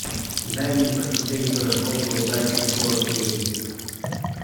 дай мне посмотреть гороскоп на удачу фор кей